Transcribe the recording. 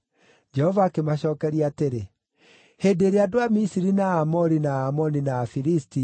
Jehova akĩmacookeria atĩrĩ, “Hĩndĩ ĩrĩa andũ a Misiri na Aamori, na Aamoni, na Afilisti,